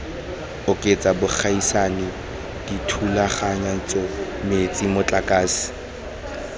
oketsa bogaisani dithulaganyetso metsi motlakase